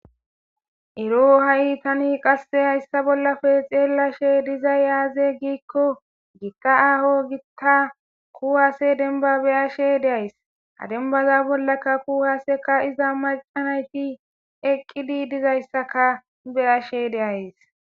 Eroo ha7i tani qasse hayssa bollafe xeella she dizay yaaze giikko giitta aaho giitta kuhaase denba beyashe deays ha denbaza bollaka kuhaseka iza macanayti eqqidi dizayssaka beyashe deays